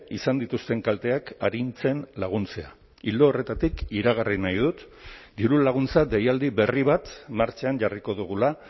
izan dituzten kalteak arintzen laguntzea ildo horretatik iragarri nahi dut dirulaguntza deialdi berri bat martxan jarriko dugula